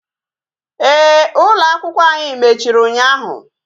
Ee, ụlọ akwụkwọ ànyị mechiri ụnyaahụ